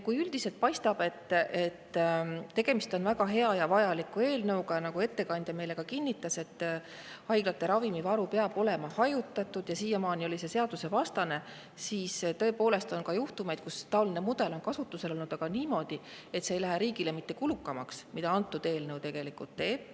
Kui üldiselt paistab, et tegemist on väga hea ja vajaliku eelnõuga, nagu ettekandja meile ka kinnitas, haiglate ravimivarud peavad olema hajutatud ja siiamaani oli see seadusvastane, siis tõepoolest on ka juhtumeid, kui taoline mudel on kasutusel olnud, aga niimoodi, et see ei lähe riigile kulukamaks, nagu antud eelnõu tegelikult teeb.